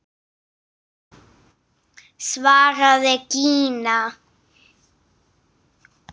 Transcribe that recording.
svaraði Gína.